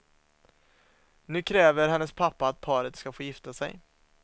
Nu kräver hennes pappa att paret ska få gifta sig.